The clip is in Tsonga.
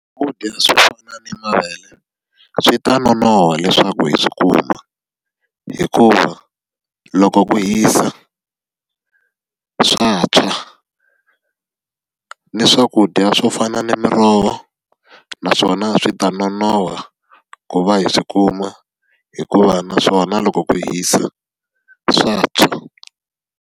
Swakudya swo fana ni mavele, swi ta nonoha leswaku hi swi kuma. Hikuva loko ku hisa, swa tshwa. Ni swakudya swo fana na miroho, naswona swi ta nonoha ku va hi swi kuma hikuva naswona loko ku hisa swa tshwa.